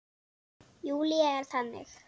Júlía er þannig.